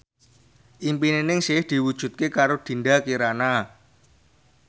impine Ningsih diwujudke karo Dinda Kirana